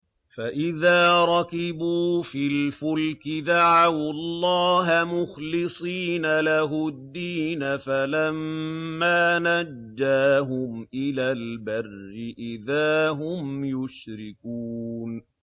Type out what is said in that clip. فَإِذَا رَكِبُوا فِي الْفُلْكِ دَعَوُا اللَّهَ مُخْلِصِينَ لَهُ الدِّينَ فَلَمَّا نَجَّاهُمْ إِلَى الْبَرِّ إِذَا هُمْ يُشْرِكُونَ